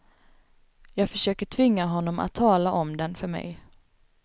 Jag försökte tvinga honom att tala om den för mig.